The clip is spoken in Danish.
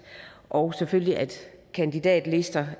og selvfølgelig at kandidatlister